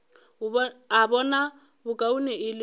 a bona bokaone e le